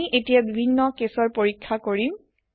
আমি এতিয়া বিভিন্ন কেছৰ পৰিখ্যা কৰিম